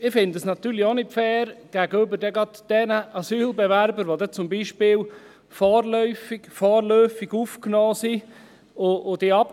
Ich finde es natürlich auch gerade gegenüber den Asylbewerbern, die zum Beispiel vorläufig aufgenommen sind, nicht fair.